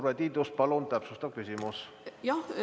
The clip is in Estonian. Urve Tiidus, palun, täpsustav küsimus!